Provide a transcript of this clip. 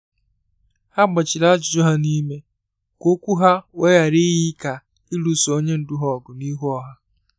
Ha gbachiri ajụjụ hà n’ime, ka okwu ha wee ghara iyi ka ịlụso onye ndu ha ọgụ n’ihu ọha